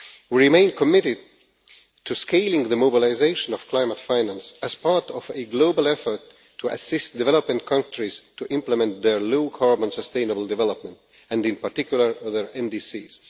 We remain committed to scaling the mobilisation of climate finance as part of a global effort to assist developing countries to implement their low carbon sustainable development, and in particular their NDCs.